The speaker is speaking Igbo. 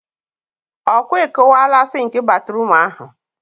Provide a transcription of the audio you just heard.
ọ kwa ị kụwaala sịnk batruum ahụ?